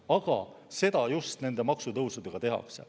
Aga seda just nende maksutõusudega tehakse.